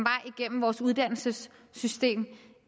igennem vores uddannelsessystem